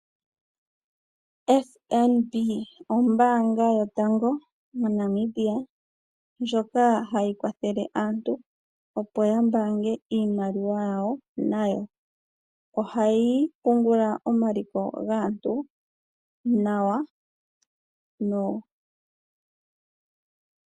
FNB ombanga yotango moNamibia ndjoka hayi kwathele aantu opo ya bange iimaliwa yawo nayo. Ohayi pungula omaliko gaantu nawa.